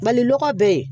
Mali lɔgɔ bɛɛ